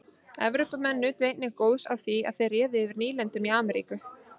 Evrópumenn nutu einnig góðs af því að þeir réðu yfir nýlendum í Ameríku.